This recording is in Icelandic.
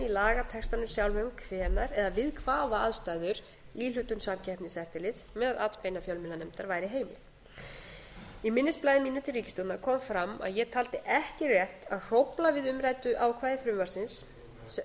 lagatextanum sjálfum hvenær eða við hvaða aðstæður íhlutun samkeppniseftirlits með atbeina fjölmiðlanefnd væri heimil í minnisblaði mínu til ríkisstjórnar kom fram að ég taldi ekki rétt að hrófla við umræddu ákvæði frumvarpsins af